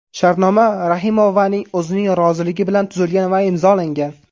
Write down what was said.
Shartnoma Rahimovaning o‘zining roziligi bilan tuzilgan va imzolangan.